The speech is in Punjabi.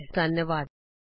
ਸਾਡੇ ਨਾਲ ਜੁਡ਼ਨ ਲਈ ਧੰਨਵਾਦ